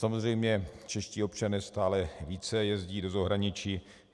Samozřejmě čeští občané stále více jezdí do zahraničí.